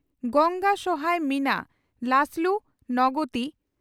ᱜᱚᱝᱜᱟ ᱥᱚᱦᱟᱭ ᱢᱤᱱᱟ ᱞᱟᱥᱞᱩ ᱱᱚᱜᱚᱛᱤ